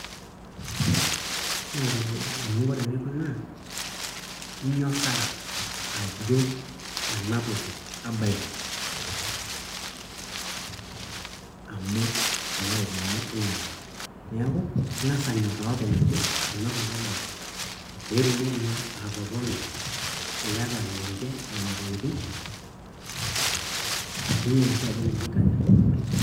inyoraa ajo ena toki abaiki. amu kuna ropiyiani iyata. neeku ing'as anyoraa openy ajo, ena toki abaiki, pee itumoki naa atotona, iyata ninche nena tokitin, niyiolo sii ajo ninche ibaiki.